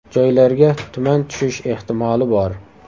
Joylarga tuman tushish ehtimoli bor.